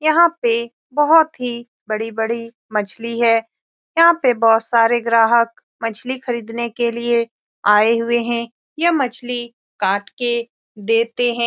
यहाँ पे बहुत ही बड़ी बड़ी मछली है यहाँ पे बहुत सारे ग्राहक मछली खरीदने के लिए आये हुए है ये मछली काट के देते है।